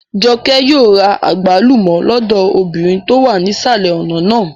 Jọkẹ́ yóò ra àgbálùmọ́ lọ́dọ̀ obìnrin tó wà nísàlẹ̀ ọ̀nà náà